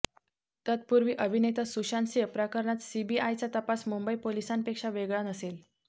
तत्पूर्वी अभिनेता सुशांतसिंह प्रकरणात सीबीआयचा तपास मुंबई पोलिसांपेक्षा वेगळा नसेल